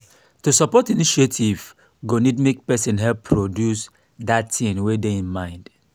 to support initiatives go need make persin help produce that thing wey de im mind